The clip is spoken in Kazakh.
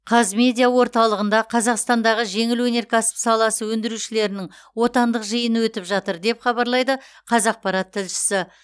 қазмедиа орталығында қазақстандағы жеңіл өнеркәсіп саласы өндірушілерінің отандық жиыны өтіп жатыр деп хабарлайды қазақпарат тілшісі